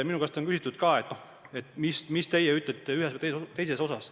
Minu käest on küsitud, mida ma ütlen ühe või teise asja kohta.